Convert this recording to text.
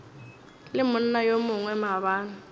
le monna yo mongwe maabane